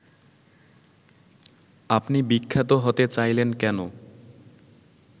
আপনি বিখ্যাত হতে চাইলেন কেন